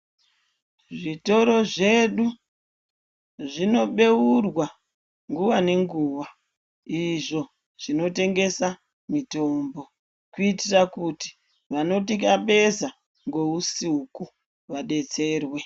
Zvitoro zvedu zvinobeurwa nguwa nenguwa izvo zvinotengesa mitombo kuitira kuti vanotikabesa ngousiku vadetserwa